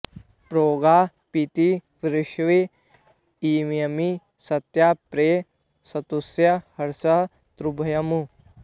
programme पीतिं वृष्ण इयर्मि सत्यां प्रयै सुतस्य हर्यश्व तुभ्यम्